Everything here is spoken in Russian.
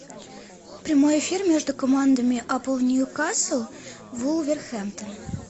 прямой эфир между командами апл ньюкасл вулверхэмптон